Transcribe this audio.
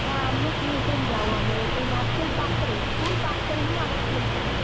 ନା ଆମେ tuition ଯାଉ ଆମର ସେଇ market ପାଖରେ school ପାଖରେ ହିଁ ଆମର tuition ହୁଏ।